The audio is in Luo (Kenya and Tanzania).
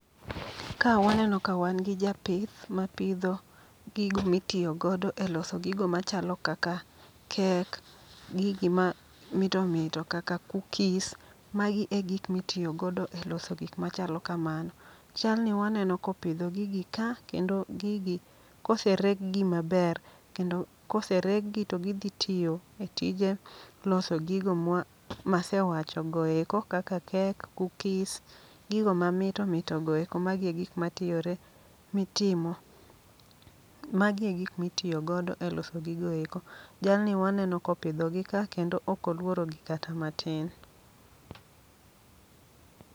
Ka waneno ka wan gi japith mapidho gigo mitiyo godo e loso gigo machalo kaka kek, gigi ma mito mito kaka kukis. Magi e gik mitiyogodo e loso gik machalo kamano. Jalni waneno kopidho gigi ka, kendo gigi kosereg gi maber, kendo kosereg gi to gidhi tiyo e tije loso gigo mwa masewacho goeko. Kaka kek, kukis, gigo ma mito mito goeko. magi e gik matiyore mitimo, magi e gik mitiyo godo e loso gigoeko. Jalni waneno kopidho gi ka, kendo okoluorogi kata matin.